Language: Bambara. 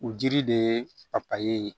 U jiri de ye papaye ye